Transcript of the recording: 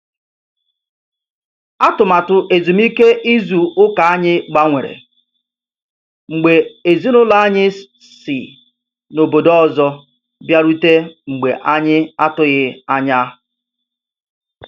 Atụmatụ ezumike ịzụ ụka anyị gbanwere, mgbe ezinaụlọ anyị si n'ọbọdọ ọzọ bịarute mgbe anyị atughi anya.